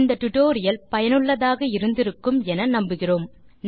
இந்த டுடோரியல் சுவாரசியமாகவும் பயனுள்ளதாகவும் இருந்திருக்கும் என நம்புகிறேன்